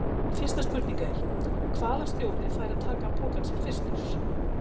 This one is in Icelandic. Fyrsta spurning er: Hvaða stjóri fær að taka pokann sinn fyrstur?